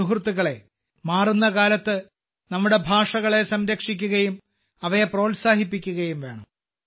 സുഹൃത്തുക്കളേ മാറുന്ന കാലത്ത് നമ്മുടെ ഭാഷകളെ സംരക്ഷിക്കുകയും അവയെ പ്രോത്സാഹിപ്പിക്കുകയും വേണം